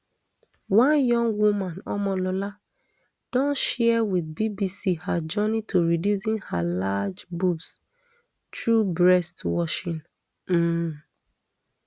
one young woman omolola don share wit bbc her journey to reducing her large boobs through breast washing um